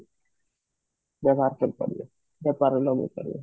market କରିବେ ବେପାର ରେ ଲଗେଇ ପାରିବେ